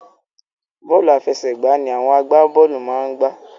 Bọ́ọ̀lù àfẹsẹ̀gbá ni àwọn agbábọ́ọ̀lù máa ń gbá